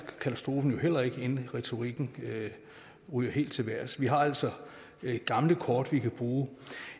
katastrofen vel heller ikke kan inden retorikken ryger helt til vejrs vi har altså gamle kort vi kan bruge